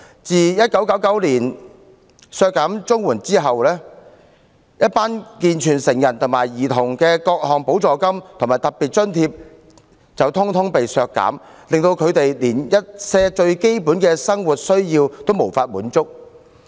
政府在1999年削減綜援，為健全成人和兒童而設的各項補助金和特別津貼全遭削減，令他們一些最基本的生活需要得不到滿足。